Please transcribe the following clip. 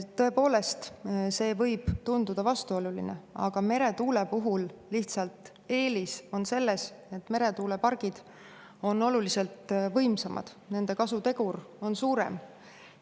Tõepoolest, see võib tunduda vastuoluline, aga meretuule puhul eelis on lihtsalt selles, et meretuulepargid on oluliselt võimsamad, nende kasutegur on suurem.